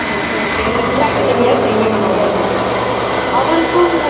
தனித்தனியா செய்ய முடியாதுன்னு அவருக்கும்